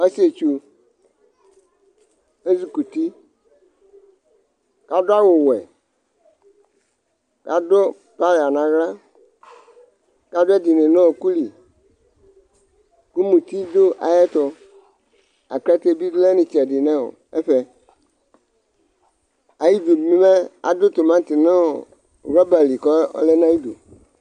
̄Ɔsɩetsʋ, ezɩkʋti, adʋ awʋwɛ, adʋ playa nʋ aɣla, kʋ adʋ ɛdɩnɩ nʋ ɔɔkʋ li, kʋ muti dʋ ayʋ ɛtʋ, akʋ ɛdɩ ḅɩ lɛ nʋ ɩtsɛdɩ nʋ ɛfɛ Adʋ timati nʋ wrɔba li kʋ ɔlɛ nʋ ayʋ ɩdʋ